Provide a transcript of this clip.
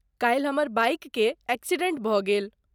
काल्हि हमर बाइककेँ एक्सिडेंट भऽ गेल।